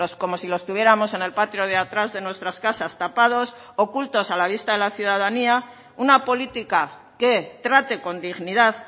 como si los tuviéramos en el patio de atrás de nuestras casas tapados ocultos a la vista de la ciudadanía una política que trate con dignidad